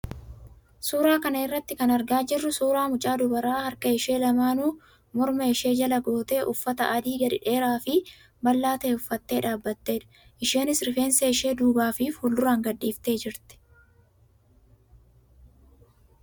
Suuraa kana irraa kan argaa jirru suuraa mucaa dubaraa harka ishee lamaanuu morma ishee jala gootee uffata adii gadi dheeraa fi bal'aa ta'e uffattee dhaabbattedha. Isheenis rifeensa ishee duubaa fi fuulduraan gadhiiftee jirti.